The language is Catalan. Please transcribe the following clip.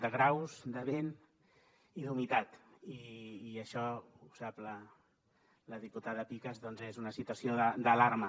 de graus de vent i d’humitat i això ho sap la diputada picas doncs és una situació d’alarma